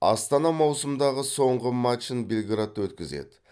астана маусымдағы соңғы матчын белградта өткізеді